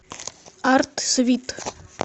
артсвит